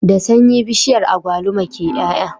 Da sanyi bishiyar agwalima ke y'ay'a